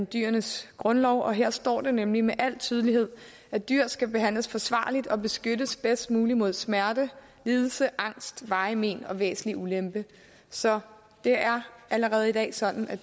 dyrenes grundlov og her står der nemlig med al tydelighed at dyr skal behandles forsvarligt og beskyttes bedst muligt mod smerte lidelse angst varige men og væsentlig ulempe så det er allerede i dag sådan at